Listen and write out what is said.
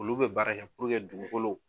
Olu bɛ baara kɛ puruke dugukolo